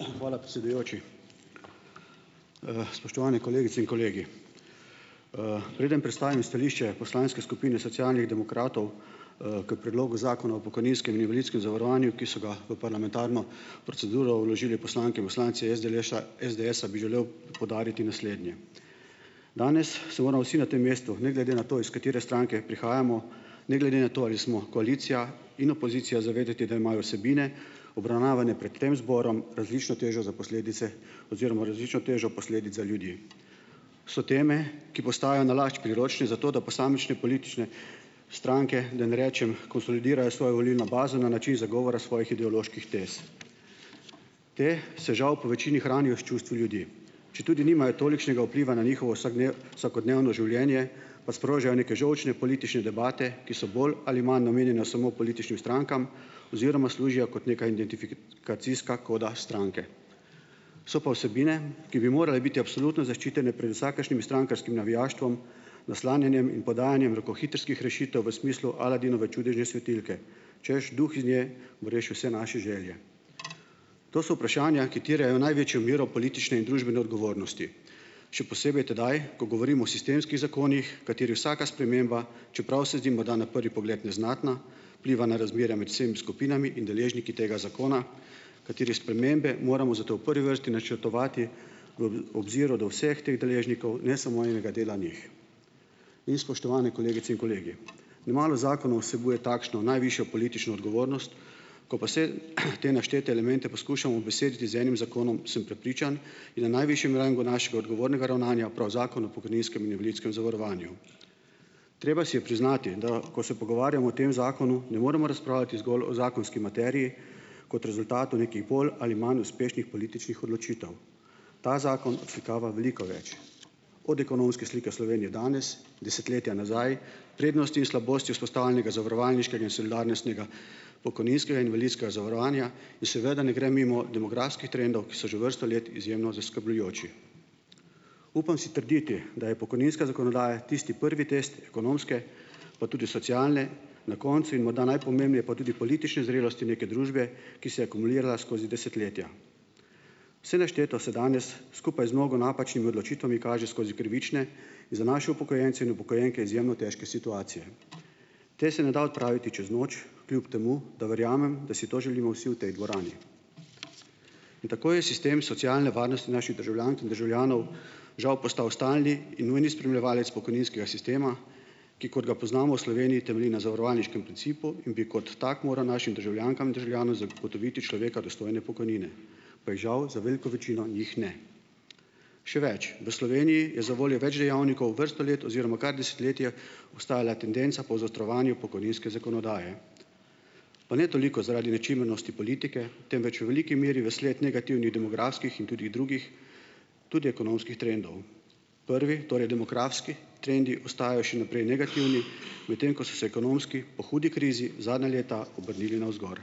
Hvala, predsedujoči. spoštovani kolegice in kolegi! preden predstavim stališče poslanske skupine Socialnih demokratov. k predlogu zakona o pokojninskem in invalidskem zavarovanju, ki so ga v parlamentarno proceduro vložili poslanke in poslanci SDLŠ-a, SDS-a bi želel poudariti naslednje. Danes se moramo vsi na tem mestu, ne glede na to, iz katere stranke prihajamo, ne glede na to, ali smo koalicija in opozicija, zavedati, da imajo vsebine, obravnavane pred tem zborom, različno težo za posledice oziroma različno težo posledic za ljudi. So teme, ki postajajo nalašč priročne za to, da posamične politične stranke, da ne rečem konsolidirajo svojo volilno bazo na način zagovora svojih ideoloških tez. Potem se, žal, povečini hranijo s čustvi ljudi. Četudi nimajo tolikšnega vpliva na njihovo vsakodnevno življenje, pa sprožajo neke žolčne politične debate, ki so bolj ali manj namenjene samo političnim strankam oziroma služijo kot neka identifikacijska koda stranke. So pa vsebine, ki bi morale biti absolutno zaščitene pred vsakršnim strankarskim navijaštvom, naslanjanjem in podajanjem rokohitrskih rešitev v smislu Aladinove čudežne svetilke, češ, duh iz nje bo rešil vse naše želje. To so vprašanja, ki terjajo največjo mero politične in družbene odgovornosti, še posebej tedaj, ko govorimo o sistemskih zakonih, katerih vsaka sprememba, čeprav se zdi morda na prvi pogled neznatna, vpliva na razmerja med vsem skupinami in deležniki tega zakona, katerih spremembe moramo zato v prvi vrsti načrtovati v obziru do vseh teh deležnikov, ne samo enega dela njih. In, spoštovane kolegice in kolegi, le malo zakonov vsebuje takšno najvišjo politično odgovornost. Ko pa vse, te naštete elemente poskušamo ubesediti z enim zakonom, sem prepričan, da je na najvišjem rangu našega odgovornega ravnanja prav Zakon o pokojninskem in invalidskem zavarovanju. Treba si je priznati, da ko se pogovarjamo o tem zakonu, ne moremo razpravljati zgolj o zakonski materiji kot rezultatu nekih bolj ali manj uspešnih političnih odločitev. Ta zakon odslikava veliko več, od ekonomske slike Slovenije danes, desetletja nazaj, prednosti in slabosti vzpostavljenega zavarovalniškega in solidarnostnega pokojninskega in invalidskega zavarovanja in seveda ne gre mimo demografskih trendov, ki so že vrsto let izjemno zaskrbljujoči. Upam si trditi, da je pokojninska zakonodaja tisti prvi test ekonomske, pa tudi socialne, na koncu in morda najpomembneje, pa tudi politične zrelosti neke družbe, ki se je akumulirala skozi desetletja. Vse našteto se danes skupaj z mnogo napačnimi odločitvami kaže skozi krivične in za naše upokojence in upokojenke izjemno težke situacije. Potem se ne da odpraviti čez noč, kljub temu da verjamem, da si to želimo vsi v tej dvorani. In tako je sistem socialne varnosti naših državljank in državljanov, žal, postal stalni in nujni spremljevalec pokojninskega sistema, ki, kot ga poznamo v Sloveniji, temelji na zavarovalniškem principu in bi kot tak moral našim državljankam in državljanom zagotoviti človeka dostojne pokojnine, pa jih, žal, za veliko večino njih ne. Še več, v Sloveniji je zavoljo več dejavnikov vrsto let oziroma kar desetletje ostajala tendenca po zaostrovanju pokojninske zakonodaje. Pa ne toliko zaradi nečimrnosti politike, temveč v veliki meri vsled negativnih demografskih in tudi drugih, tudi ekonomskih trendov. Prvi, torej demografski trendi, ostajajo še naprej negativni, medtem ko so se ekonomski po hudi krizi zadnja leta obrnili navzgor.